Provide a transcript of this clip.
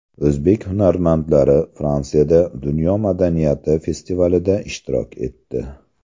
O‘zbek hunarmandlari Fransiyada dunyo madaniyati festivalida ishtirok etdi.